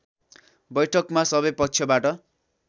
बैठकमा सबै पक्षबाट